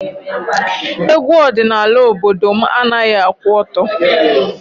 Egwu ọdịnala obodo managhị akwụ ọtọ.